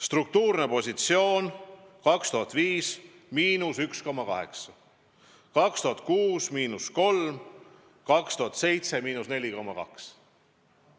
Struktuurne positsioon 2005. aastal oli –1,8%; 2006. aastal –3%; 2007. aastal –4,2%.